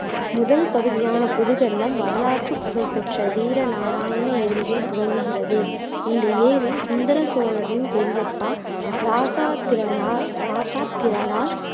முதல் பகுதியான புதுவெள்ளம் வரலாற்றுப் புகழ் பெற்ற வீர நாராயண ஏரியில் துவங்குகிறது. இந்த ஏரி சுந்தர சோழரின் பெரியப்பா இராசாதிரனால் இராசாதிரரால்